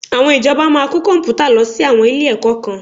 Àwọn ìjọba máa kó Kọ̀m̀pútà lọ sí àwọn ilé-ẹ̀kọ́ kan